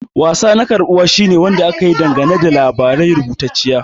Wasa na karbuwa shine Wanda aka yi dangane da labari rubutacce.